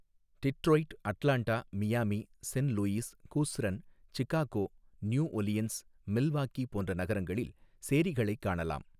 டிற்றொய்ட் Atlanta Miami Saint Louis Houston Chicago New Orleans Milwaukee போன்ற நகரங்களில் சேரிகளை காணலாம்.